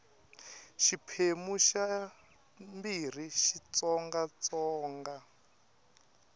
xiphemu xa ii xitsonga xitsonga